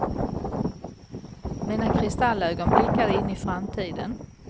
Mina kristallögon blickade in i framtiden.